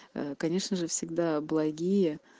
конечно же всегда благие